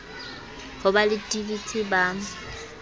ho ba le dvt ba